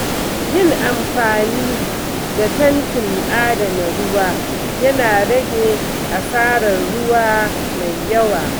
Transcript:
Yin amfani da tankin adana ruwa yana rage asarar ruwa mai yawa.